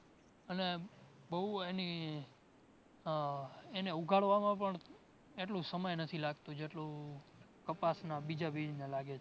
અને બોવ એની આહ એને ઉગાડવામાં પણ એટલું સમય નથી લાગતું જેટલું કપાસ ના બીજા બીજને લાગે છે